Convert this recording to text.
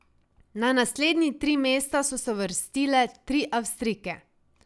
Na naslednji tri mesta so se uvrstile tri Avstrijke.